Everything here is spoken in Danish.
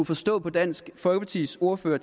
forstå på dansk folkepartis ordfører